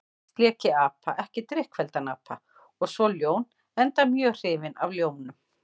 Fyrst lék ég apa, ekki drykkfelldan apa, og svo ljón, enda mjög hrifinn af ljónum.